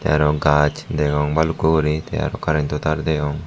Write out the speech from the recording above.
the aro gaj degong bhalukku guri te aro karento tar degong.